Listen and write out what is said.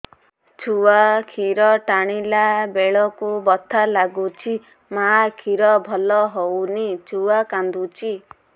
ଛୁଆ ଖିର ଟାଣିଲା ବେଳକୁ ବଥା ଲାଗୁଚି ମା ଖିର ଭଲ ହଉନି ଛୁଆ କାନ୍ଦୁଚି